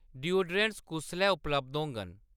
Deodorants कुसलै उपलब्ध होङन ?